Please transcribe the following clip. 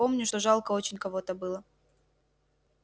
помню что жалко очень кого-то было